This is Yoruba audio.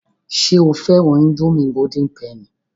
Ṣé o fẹ́ran ińdómì golden penny?